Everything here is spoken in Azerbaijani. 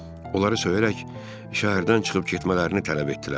Onları söyərək şəhərdən çıxıb getmələrini tələb etdilər.